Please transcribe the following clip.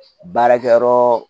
Baarakɛyɔrɔ